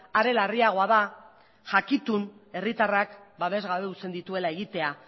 are larriagoa da jakitun herritarrak babes gabe uzten dituela egitea